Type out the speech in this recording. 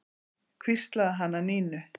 hvíslaði hann að Nínu.